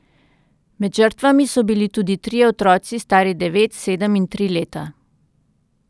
Med žrtvami so bili tudi trije otroci stari devet, sedem in tri leta.